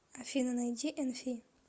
афина найди энфи